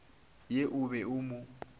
ye o be o mo